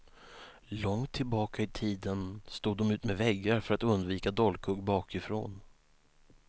Långt tillbaka i tiden stod de utmed väggar för att undvika dolkhugg bakifrån.